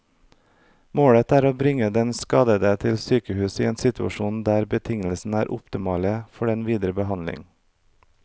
Målet er å bringe den skadede til sykehus i en situasjon der betingelsene er optimale for den videre behandling.